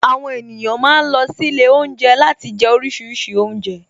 Àwon èniyàn ma ń lọ sílé Ilé oúnjẹ láti jẹ oríṣiríṣi oúnjẹ